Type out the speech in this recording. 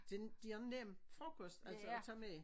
Den de har nem frokost altså at tage med